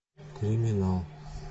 криминал